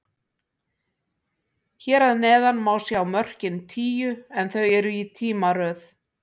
Hér að neðan má sjá mörkin tíu, en þau eru í tímaröð.